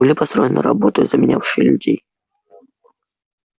были построены роботы заменявшие людей